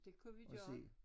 Det kunne vi gøre